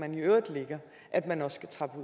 man i øvrigt lægger at man også skal trappes